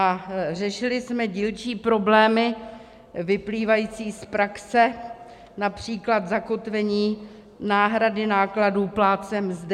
A řešili jsme dílčí problémy vyplývající z praxe, například zakotvení náhrady nákladů plátcem mzdy.